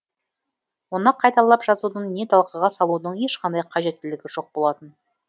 оны қайталап жазудың не талқыға салудың ешқандай қажеттілігі жоқ болатын